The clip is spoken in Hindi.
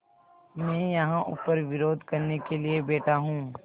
मैं यहाँ ऊपर विरोध करने के लिए बैठा हूँ